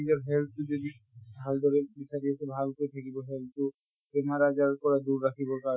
নিজৰ health তো যদি ভাল্দৰে বিচাঁৰি আছে ভাল কে থাকিব health তো। বেমাৰ আজাৰৰ পৰা দূৰ ৰাখিব কাৰণে